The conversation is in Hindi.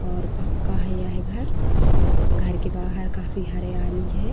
और पक्का है यह घर। घर के बाहर काफी हरियाली है।